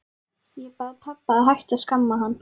Ég bað pabba að hætta að skamma hann.